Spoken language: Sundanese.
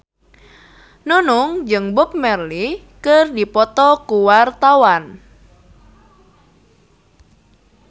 Nunung jeung Bob Marley keur dipoto ku wartawan